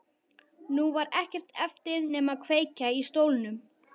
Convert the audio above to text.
Nú var ekkert eftir nema að kveikja í stólnum.